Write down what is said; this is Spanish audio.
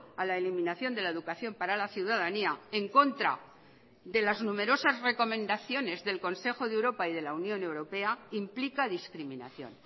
a la eliminación de la educación para la ciudadanía en contra de las numerosas recomendaciones del consejo de europa y de la unión europea implica discriminación